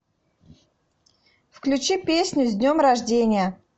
включи песню с днем рождения